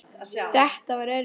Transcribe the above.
Þetta var erfitt.